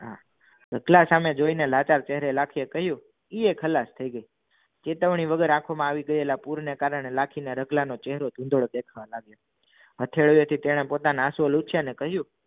સામે જોયી ને લાચાર લાઠી ને કહ્યું ઇએ ખલાસ થઈ ગયો ચેતવણી વગર આંખોમાં આવી ગયા પૂરના કારણે લાખી ને રતલાનો ચહેરો ધૂંધળો દેખાવા લાગ્યો અઠડે થી તને પોતાના લૂછીય અને કહ્યું